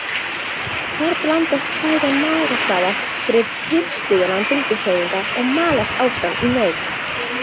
Þar blandast fæðan magasafa fyrir tilstuðlan bylgjuhreyfinga og malast áfram í mauk.